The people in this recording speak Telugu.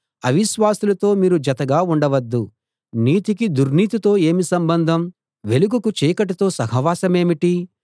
అవిశ్వాసులతో మీరు జతగా ఉండవద్దు నీతికి దుర్నీతితో ఏమి సంబంధం వెలుగుకు చీకటితో సహవాసమేమిటి